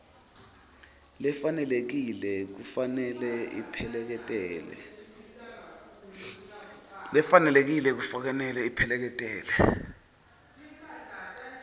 lefanelekile kufanele ipheleketele